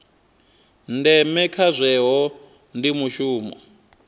ndeme kha zwohe ndi mushumo